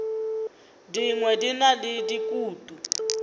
dingwe di na le dikutu